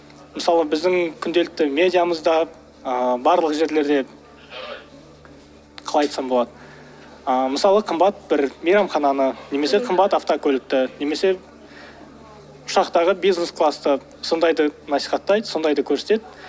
мысалы біздің күнделікті медиамызда ы барлық жерлерде қалай айтсам болады ыыы мысалы қымбат бір мейрамхананы немесе қымбат автокөлікті немесе ұшақтағы бизнес класты сондайды насихаттайды сондайды көрсетеді